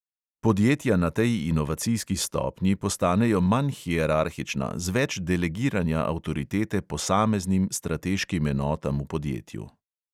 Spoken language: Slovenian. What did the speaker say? Podjetja na tej inovacijski stopnji postanejo manj hierarhična, z več delegiranja avtoritete posameznim strateškim enotam v podjetju.